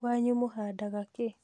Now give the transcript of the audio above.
Kwanyu mũhandaga kĩĩ?